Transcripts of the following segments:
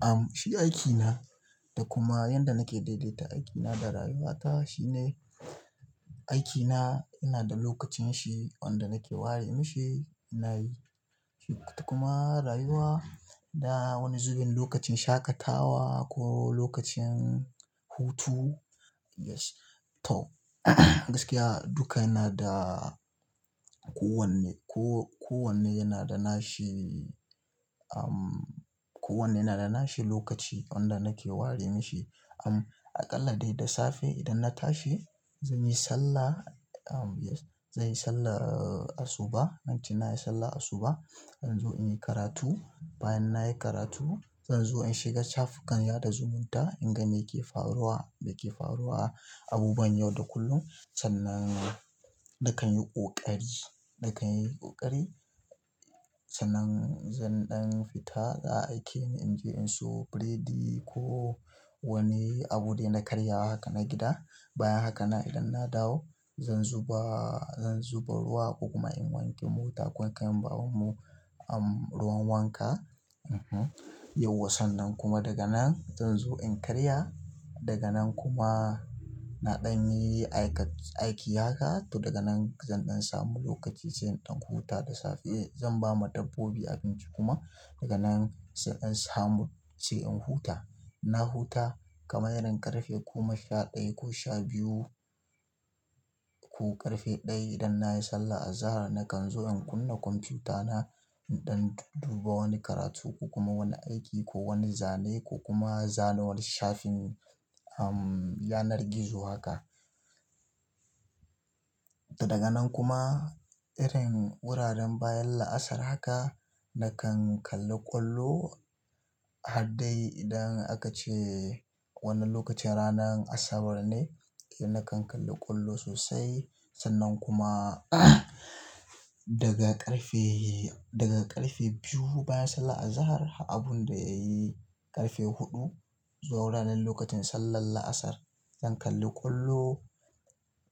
Am shi aikina da kuma yanda nake daidaita aikina da rayuwata shine aikina yana da lokacinshi wanda nake ware mishi. Da kuma rayuwa na wani zubin lokacin shaƙatawa ko wani lokacin hutu. Yes, to gaskiya duka yana da kowanne, ko-kowanne yana da nashi. Am kowanne yana da nashi lokaci wanda nake ware mashi. Am aƙalla dai da safe idan na tashi zan yi sallah. Am zan yi sallan asuba. Bacin na yi sallah a suba, zan zo in yi karatu. Bayan na yi karatu zan zo in shiga shafu kan sada zumunta in ga me ke faruwa, da ke faruwa, abubuwan yau da kullum. Sannan nakan yi ƙoƙari, nakan yi ƙoƙari. Sannan zan ɗan fita da aikin in je in siyo biredi ko wani abu dai na karya wa haka na gida. Bayan haka nan idan na dawo zan zuba, zan zuba ruwa kokuma in wanke mota, ko in kai ma baban mu am ruwan wanka. E huh. Yauwa sannan kuma daga nan zan zo in karya. Daga nan kuma na ɗan yi aika-aiki haka to daga nan zan ɗan samu lokaci zan ɗan huta da safe. Zan ba ma dabbobi abinci kuma daga nan sai in samu sai in huta. Na huta kamar irin ƙarfe goma sha ɗaya ko sha biyu ko ƙarfe ɗaya idan nayi sallar azahar nakanzo na kunna kwamfuta na, in ɗan dudduba wani karatu, kokuma wani aiki ko wani zane kokuma zana wani shafin amm. Yanan gizo haka. To daga nan kuma irin wuraren bayan la'asar haka nakan kalli ƙwallo. Haddai idan aka ce wannan lokacin ranan Asabar ne, eh nakan kalli ƙwallo sosai. Sannan kuma daga ƙarfe, daga ƙarfe biyu bayan sallah azahar har abun da ya yi ƙarfe huɗu. Zuwa wuraren lokutan sallar la'asar zan kalli ƙwallo.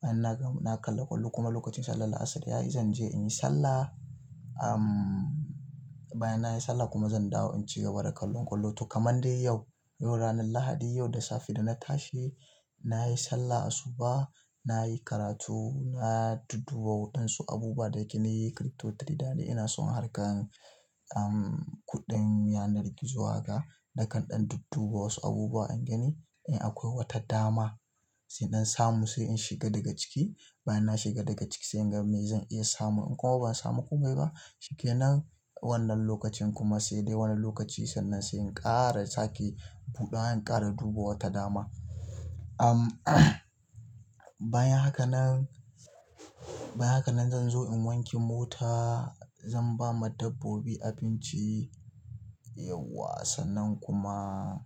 Idan na ga, na kalla ƙwallo kuma lokacin sallar la'asar ya yi zan je in yi sallah. Am. Bayan na yi sallah kuma zan dawo in ci gaba da kallon ƙwallo. To kamar dai yau, yau ranan Lahadi, yau da safe da na tashi, na yi sallar a suba, na yi karatu, na dubba waɗansu abubuwa dake ni crypto trader ne. Ina son harkar am kuɗin yanar gizo haka. Nakan ɗan dubba wasu abubuwa in gani, in akwai wata dama sai in samu sai in shiga daga ciki. Bayan na shiga daga ciki sai in ga me zan iya samu. In kuma ban samu komai ba, shikenan. Wannan lokacin kuma sai dai wani lokaci sannan sai in ƙara sake buɗe. An ƙara duba wata dama. Am bayan haka nan, bayan haka nan zan zo in wanke mota. Zan ba ma dabbobi abinci. Yauwa sannan kuma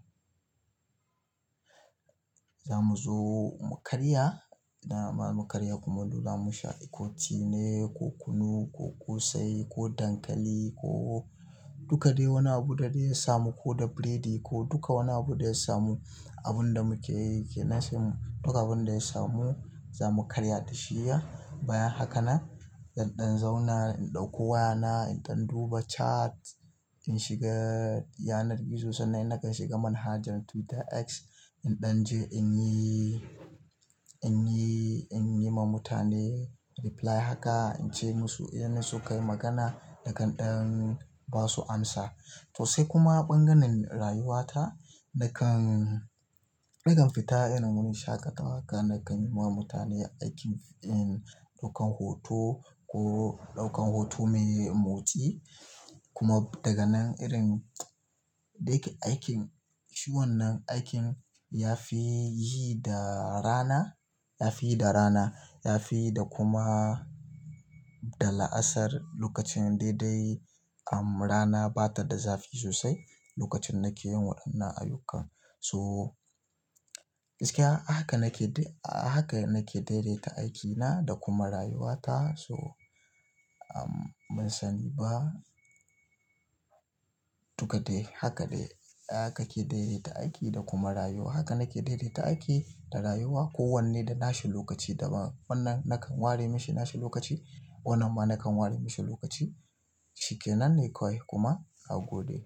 za mu zo mu karya. Na ba mu karya kumallo, damu sha ko tea ne, ko kunu, ko ƙosai, ko dankali, ko duka dai wani abu da dai ya samu ko da biredi ko duka wani abu da ya samu. Abun da muke yi ke nan sai mu duka abun da ya samu za mu karya da shiyya. Bayan haka nan zan ɗan zauna in ɗauko wayana, in ɗan duba chat, in shiga yanar gizo sannan in nakan shiga manhajar Twitter X. In ɗanje inyi. Inyi. Inyi ma mutane reply haka. In ce musu inda su kayi magana na ƙan ɗan ba su amsa. To sai kuma ɓangaren rayuwata nakan, nakan fita irin wani shaƙatawa haka nakan yi ma mutane aikin in ɗaukan hoto ko ɗaukan hoto mai motsi. Kuma daga nan irin da ya ke aikin, shi wannan aikin ya fi yi da rana, ya fi yi da rana. Ya fi yi da kuma da la'asar lokacin daidai am rana ba ta da zafi sosai lokacin nake yin waɗannan ayyuka. To gaskiya haka nake dai, a haka nake daidaita aikina da kuma rayuwata. So am mun sani ba duka dai haka dai haka ke daidaita aiki da kuma rayuwa. Haka nake daidaita aiki da rayuwa. Ko wanne da nashi lokaci daban. Wannan nakan ware mishi nashi lokaci. Wannan ma nakan ware mishi lokaci. Shikenan ne kawai kuma na gode.